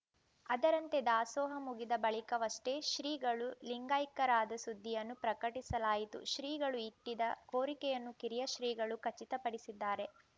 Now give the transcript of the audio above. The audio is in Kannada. ಅದರಂತೆ ದಾಸೋಹ ಮುಗಿದ ಬಳಿಕವಷ್ಟೇ ಶ್ರೀಗಳು ಲಿಂಗೈಕ್ಯರಾದ ಸುದ್ದಿಯನ್ನು ಪ್ರಕಟಿಸಲಾಯಿತು ಶ್ರೀಗಳು ಇಟ್ಟಿದ್ದ ಕೋರಿಕೆಯನ್ನು ಕಿರಿಯ ಶ್ರೀಗಳು ಖಚಿತಪಡಿಸಿದ್ದಾರೆ